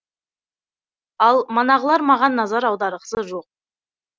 ал манағылар маған назар аударғысы жоқ